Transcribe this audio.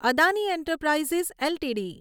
Adani enterprises LTD